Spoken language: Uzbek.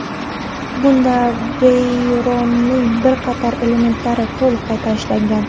Bunda Veyron’ning bir qator elementlari to‘liq qayta ishlangan.